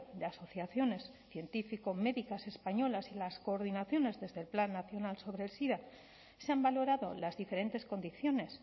de asociaciones científico médicas españolas y las coordinaciones desde el plan nacional sobre el sida se han valorado las diferentes condiciones